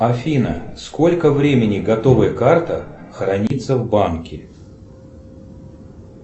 афина сколько времени готовая карта хранится в банке